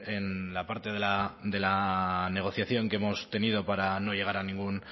en la parte de la negociación que hemos tenido para no llegar a ningún